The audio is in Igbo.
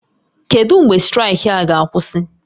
Kedu mgbe straịkị a ga-akwụsị?